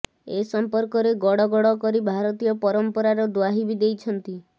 ଏ ସମ୍ପର୍କରେ ଗଡ଼ ଗଡ଼ କରି ଭାରତୀୟ ପରମ୍ପରାର ଦ୍ବାହି ବି ଦେଇଛନ୍ତି